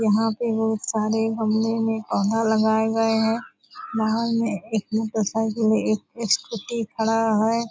यहाँ पे बहुत सारे गमले में पौधा लगाए गए हैं नाव में एक मोटर साइकिल एक स्कूटी खड़ा है।